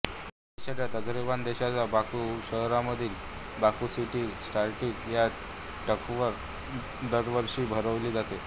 ही शर्यत अझरबैजान देशाच्या बाकु शहरामधील बाकु सिटी सर्किट ह्या ट्रॅकवर दरवर्षी भरवली जाते